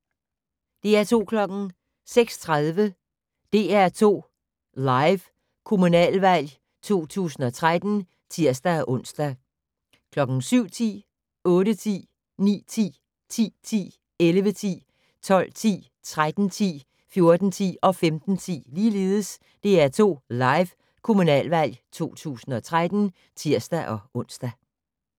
06:30: DR2 Live: Kommunalvalg 2013 (tir-ons) 07:10: DR2 Live: Kommunalvalg 2013 (tir-ons) 08:10: DR2 Live: Kommunalvalg 2013 (tir-ons) 09:10: DR2 Live: Kommunalvalg 2013 (tir-ons) 10:10: DR2 Live: Kommunalvalg 2013 (tir-ons) 11:10: DR2 Live: Kommunalvalg 2013 (tir-ons) 12:10: DR2 Live: Kommunalvalg 2013 (tir-ons) 13:10: DR2 Live: Kommunalvalg 2013 (tir-ons) 14:10: DR2 Live: Kommunalvalg 2013 (tir-ons) 15:10: DR2 Live: Kommunalvalg 2013 (tir-ons)